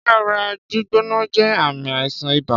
Ṣé ara gbígbóná jé ààmì àìsàn ibà?